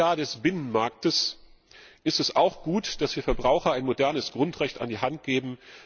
20. Jahr des Binnenmarktes ist es auch gut, dass wir Verbrauchern ein modernes Grundrecht an die Hand geben.